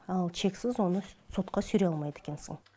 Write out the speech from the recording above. ал чексіз оны сотқа сүйрей алмайды екенсің